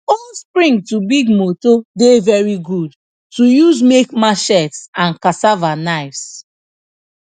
old spring to big motor dey very good to use make machetes and cassava knives